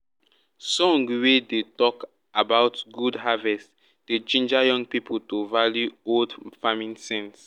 song wey dey talk about good harvest dey ginger young people to value old farming sense.